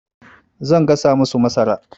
Zan gasa masu masara.